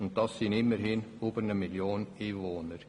Das sind immerhin mehr als eine Million Einwohner.